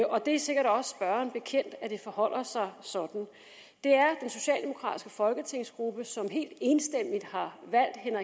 og det er sikkert også spørgeren bekendt at det forholder sig sådan det er den socialdemokratiske folketingsgruppe som helt enstemmigt har valgt herre